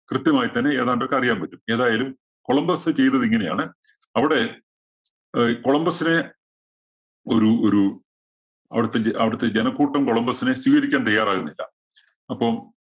കൃത്യമായി തന്നെ ഏതാണ്ടൊക്കെ അറിയാന്‍ പറ്റും. ഏതായാലും കൊളംബസ് ചെയ്തത് ഇങ്ങനെയാണ്. അവിടെ ഈ കൊളംബസിനെ ഒരു ഒരു അവിടത്തെ അവിടത്തെ ജനക്കൂട്ടം കൊളംബസിനെ സ്വീകരിക്കാന്‍ തയ്യാറാകുന്നില്ല. അപ്പം